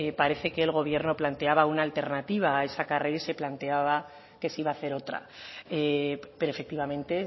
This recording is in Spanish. parece que el gobierno planteaba una alternativa a esa carrera y se planteaba que se iba a hacer otra pero efectivamente